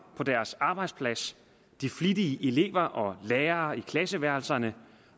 på deres arbejdspladser de flittige elever og lærere i klasseværelserne